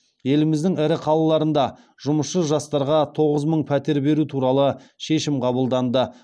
еліміздің ірі қалаларында жұмысшы жастарға тоғыз мың пәтер беру туралы шешім қабылданды